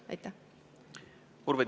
Urve Tiidus, palun!